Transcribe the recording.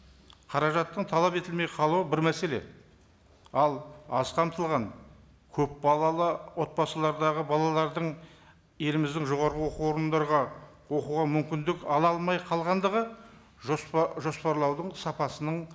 қаражаттың талап етілмей қалуы бір мәселе ал аз қамтылған көпбалалы отбасылардағы балалардың еліміздің жоғарғы оқу орындарға оқуға мүмкіндік ала алмай қалғандығы жоспарлаудың сапасының